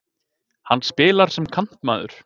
Hann spilar sem kantmaður.